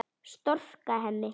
Storka henni.